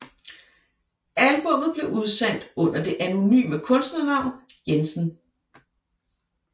Albummet blev udsendt under det anonyme kunstnernavn Jensen